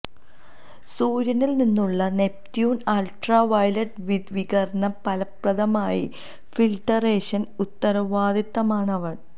സൂര്യനിൽ നിന്നുള്ള Neptune ultraviolet വികിരണം ഫലപ്രദമായി ഫിൽട്ടറേഷൻ ഉത്തരവാദിത്തമാണ് അവൻ